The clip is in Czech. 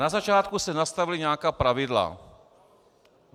Na začátku se nastavila nějaká pravidla.